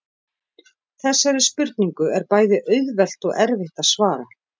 Þessari spurningu er bæði auðvelt og erfitt að svara.